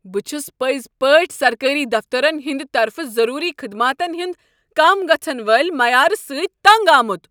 بہٕ چھس پٔزۍ پٲٹھۍ سرکٲرۍ دفترن ہنٛد طرفہٕ ضروری خدماتن ہٕنٛد کم گژھن والہ معیارٕ سۭتۍ تنگ آمت۔